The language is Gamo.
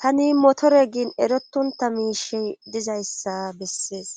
tani motore giin erotonta miishe dizayssa bessees